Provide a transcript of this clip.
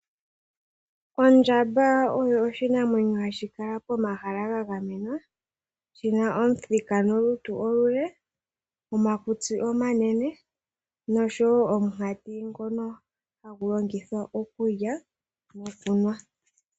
Ondjamba oyo oshinamwenyo hashi kala pomahala ga gamenwa, shi na omuthika nolutu olule, omakusti omanene nosho wo omukati ngono ha gu longithwa okulya nokunwa.